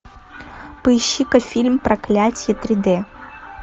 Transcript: поищи ка фильм проклятие три д